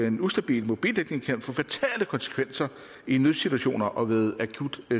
en ustabil mobildækning kan få fatale konsekvenser i en nødsituation og ved akut